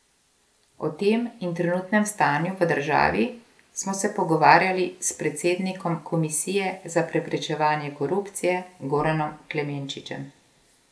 O tem in trenutnem stanju v državi smo se pogovarjali s predsednikom Komisije za preprečevanje korupcije Goranom Klemenčičem.